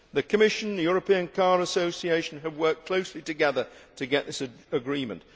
The Commission and the European Car Association have worked closely together to get this agreement.